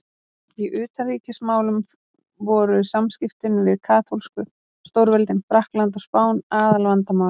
Í utanríkismálum voru samskiptin við katólsku stórveldin Frakkland og Spán aðalvandamálið.